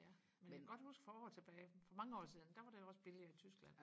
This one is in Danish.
ja men jeg kan godt huske for år tilbage for mange år siden der var det jo også billigere i Tyskland